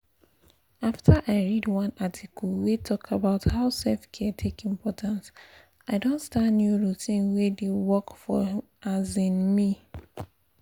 after i read one article wey talk about how self-care take important i don start new routine wey dey work for um me.